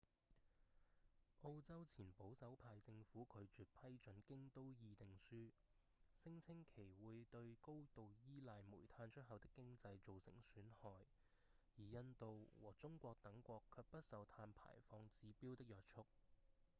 澳洲前保守派政府拒絕批准《京都議定書》聲稱其會對高度依賴煤炭出口的經濟造成損害而印度和中國等國卻不受碳排放指標的約束